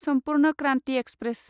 Sampoorna Kranti express